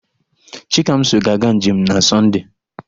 Chikamso ga-aga njem na Sọnde.